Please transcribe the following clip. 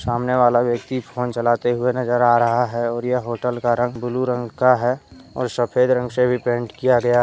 सामने वाला व्यक्ति फोन चलाते हुए नजर आ रहा है। और यह होटल का रंग ब्लू रंग का है। और सफेद रंग से भी पेंट किया गया--